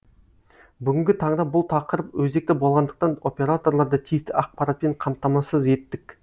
бүгінгі таңда бұл тақырып өзекті болғандықтан операторларды тиісті ақпаратпен қамтамасыз еттік